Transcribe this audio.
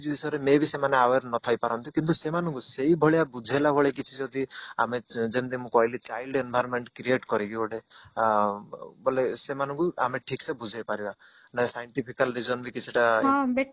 ଏଇ ଯୋଉ ବିଷୟରେ may be ସେମାନେ aware ନଥାଇ ପାରନ୍ତି କିନ୍ତୁ ସେମାନଙ୍କୁ ସେଇ ଭଳିଆ ବୁଝେଇଲା ଭଳି କିଛି ଯଦି ଆମେ ଯେମିତି ମୁଁ କହିଲି child environment create କରିକି ଗୋଟେ ଅ ବୋଲେ ସେମାନଙ୍କୁ ଆମେ ଠିକ ସେ ବୁଝେଇ ପାରିବା ନା scientifical reason ବି କିଛି ଟା